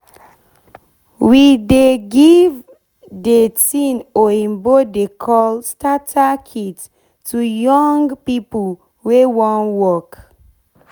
we dey give de tin oyibo dey call starter kit to young to young pipo wey wan work